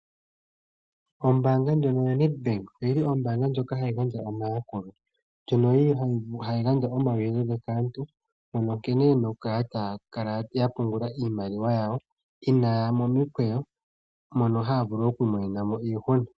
Ombaanga ndjono yaNedbank oyili ombaanga ndjono hayi gandja omayakulo, ndjono yili hayi gandja omauyelele kaantu mpono nkene yena okukala ya pungula iimaliwa yawo inaaya momikweyo mono haya vulu okumonenamo iihuna.